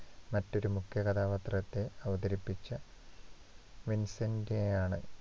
മറ്റൊരു മുഖ്യ കഥാപാത്രത്തെ അവതരിപ്പിച്ച വിൻസന്‍റ് A ആണ്.